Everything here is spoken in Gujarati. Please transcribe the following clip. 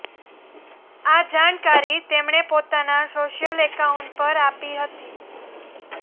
આ જાણકારી તેમણે પોતાના સોશિયલ એકાઉન્ટ પર આપી હતી